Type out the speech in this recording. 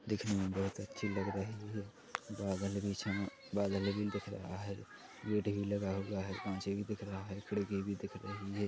दिखने में बोहोत अच्छी लग रही है बादल बीच में बादल भी दिख रहा है पेड़ भी लगा हुआ है काँचे भी दिख रहा है खिड़की भी दिख रही हैं।